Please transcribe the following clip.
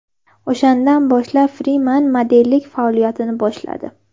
O‘shandan boshlab Friman modellik faoliyatini boshladi.